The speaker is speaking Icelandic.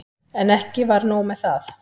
En ekki var nóg með það.